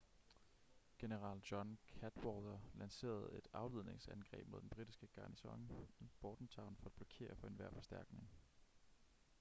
general john cadwalder lancerede et afledningsangreb mod den britiske garnison i bordentown for at blokere for enhver forstærkning